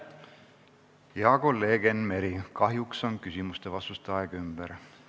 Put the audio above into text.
Hea kolleeg Enn Meri, kahjuks on küsimuste ja vastuste aeg ümber.